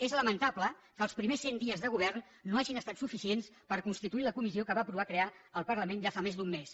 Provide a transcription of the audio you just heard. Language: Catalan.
és lamentable que els primers cent dies de govern no hagin estat suficients per constituir la comissió que va aprovar crear el parlament ja fa més d’un mes